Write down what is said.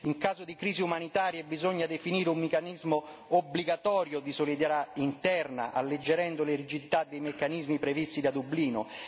in caso di crisi umanitarie bisogna definire un meccanismo obbligatorio di solidarietà interna, alleggerendo le rigidità dei meccanismi previsti da Dublino